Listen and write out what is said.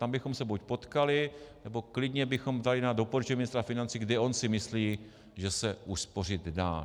Tam bychom se buď potkali, nebo klidně bychom dali na doporučení ministra financí, kde on si myslí, že se uspořit dá.